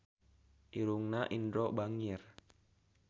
Irungna Indro bangir